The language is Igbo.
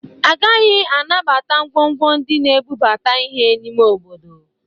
Agaghị anabata ngwongwo ndị na-ebubata ihe n'ime obodo